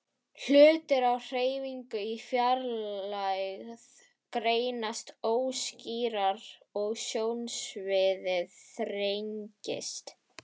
Hlutir á hreyfingu í fjarlægð greinast óskýrar og sjónsviðið þrengist.